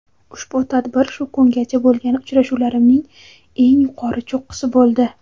ushbu tadbir shu kungacha bo‘lgan uchrashuvlarimning eng yuqori cho‘qqisi bo‘ldi.